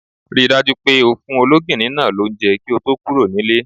Ri dájú pé o fún ológìní náa lounje kí o to kúro nílé